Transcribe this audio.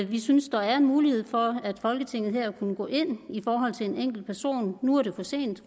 vi synes der er en mulighed for at folketinget kunne gå ind i forhold til en enkelt person nu er det for sent